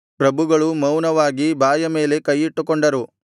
ಪ್ರಭುಗಳು ಮೌನವಾಗಿ ಬಾಯ ಮೇಲೆ ಕೈಯಿಟ್ಟುಕೊಂಡರು